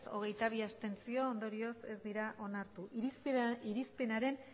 hogeita bi abstentzio ondorioz ez dira onartu irizpenaren